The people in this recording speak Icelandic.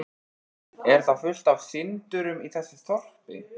Er þá fullt af syndurum í þessu þorpi?